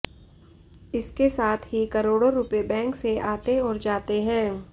इसके साथ ही करोड़ो रुपए बैक से आते और जाते है